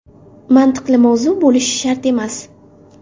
Mantiqli mavzu bo‘lishi shart emas.